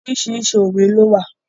Oríṣiríṣi òwe ló wà.